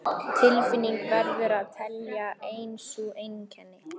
Tilfinningin verður að teljast ein sú einkenni